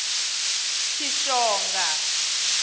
tshishonga